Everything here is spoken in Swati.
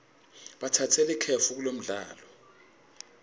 batsatse likefu kulomdlalo